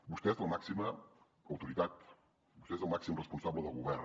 vostè és la màxima autoritat vostè és el màxim responsable del govern